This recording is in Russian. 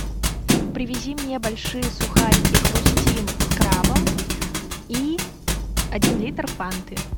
привези мне большие сухарики хрустим с крабом и один литр фанты